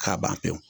K'a ban pewu